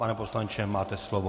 Pane poslanče, máte slovo.